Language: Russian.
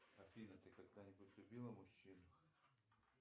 афина ты когда нибудь любила мужчину